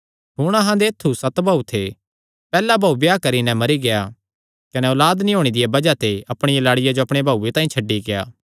हुण अहां दे ऐत्थु सत भाऊ थे पैहल्ला भाऊ ब्याह करी नैं मरी गेआ कने औलाद नीं होणे दिया बज़ाह ते अपणिया लाड़िया जो अपणे भाऊये तांई छड्डी गेआ